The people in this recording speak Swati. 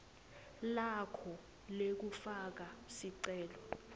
lakho lekufaka sicelo